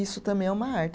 Isso também é uma arte.